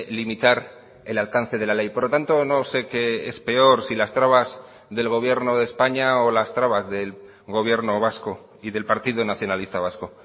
limitar el alcance de la ley por lo tanto no sé que es peor si las trabas del gobierno de españa o las trabas del gobierno vasco y del partido nacionalista vasco